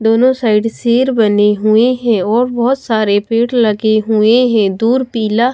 दोनों साइड शेर बने हुए हैं और बहोत सारे पेड़ लगे हुए हैं दूर पीला--